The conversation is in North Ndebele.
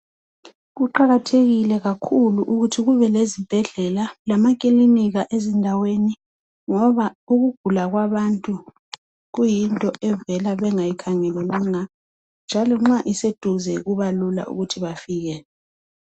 Kuqakathekile kakhulu ukuthi kube lezibhedlela lamakilinika ezindaweni ngoba ukugula kwabantu kuyinto evela bengayikhangelelanga njalo nxa iseduze kubalula ukuthi bafike.